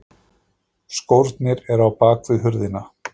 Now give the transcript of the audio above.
Skórnir eru á bakvið hurðina.